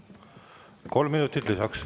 Kolm minutit lisaks.